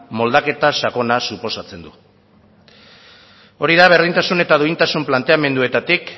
moldaketa sakona suposatzen du hori da berdintasun eta duintasun planteamenduetatik